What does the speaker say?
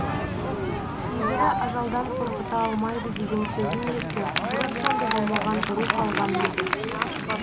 кейбірі ажалдан қорқыта алмайды деген сөзін естіп бұрын соңды болмаған рух алған еді